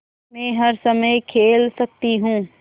मै हर समय खेल सकती हूँ